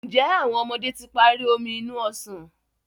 Njé àwọn ọmọdé tí parí Omi inú ọsàn?